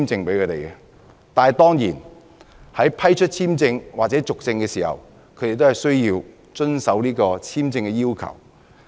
但是，在要求批出簽證或批准續證的時候，申請人當然要遵守簽證要求。